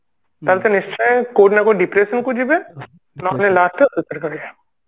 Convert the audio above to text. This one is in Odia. ତାହେଲେ ସେ ନିଶ୍ଚୟ କୋଉଠି ନା କୋଉଠି depression କୁ ଯିବେ